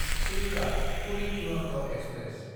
सिल्डआ–पुरि Duronto express